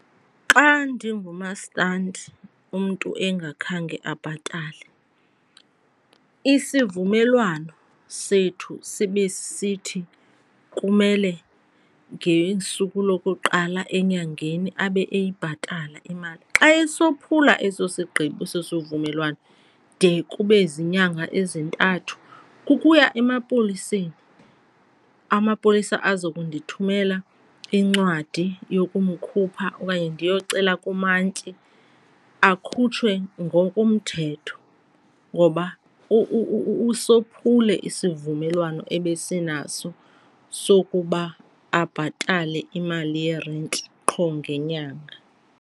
Xa ndingumasitandi umntu engakhange abhatale isivumelwano sethu sibe sithi kumele ngesuku lokuqala enyangeni abe eyibhatala imali, xa esophula eso sigqibo eso sivumelwano de kube ziinyanga ezintathu kukuya emapoliseni. Amapolisa aza kundithumela incwadi yokumkhupha okanye ndiyocela kumantyi akhutshwe ngokomthetho, ngoba usophule isivumelwano ebesinaso sokuba abhatale imali yerenti qho ngenyanga.